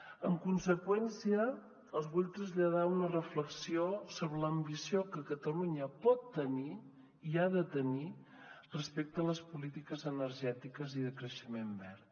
en conseqüència els vull traslladar una reflexió sobre l’ambició que catalunya pot tenir i ha de tenir respecte a les polítiques energètiques i de creixement verd